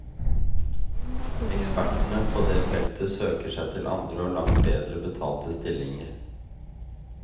Ekspertene på det feltet søker seg til andre og langt bedre betalte stillinger.